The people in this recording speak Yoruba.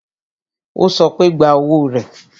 Ó sọ pé, gba owó rẹ